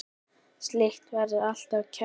Slíkt vekur alltaf kæti.